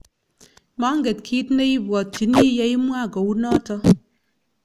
manget kiit ne ibwotyini ye imwa kou noto